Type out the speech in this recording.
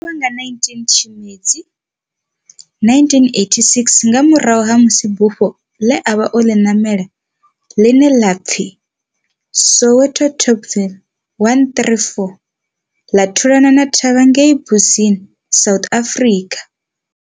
O lovha nga 19 Tshimedzi 1986 nga murahu ha musi bufho le a vha o ḽi namela, ḽine ḽa pfi Soviet Tupolev 134 ḽa thulana thavha ngei Mbuzini, South Africa.